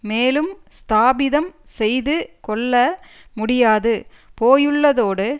மேலும் ஸ்தாபிதம் செய்து கொள்ள முடியாது போயுள்ளதோடு